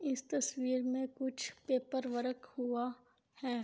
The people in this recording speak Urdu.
اس تصویر مے کچھ پپپر ورک ہوا ہے